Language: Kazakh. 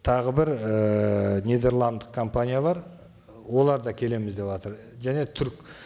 тағы бір ііі нидерландтық компания бар олар да келеміз деватыр және түрік